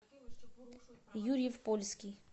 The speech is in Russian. юрьев польский